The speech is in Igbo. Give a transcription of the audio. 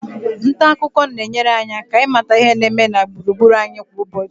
nta akụkọ na-enyere anyị aka ịmata ihe na-eme gburugburu anyị kwa ụbọchị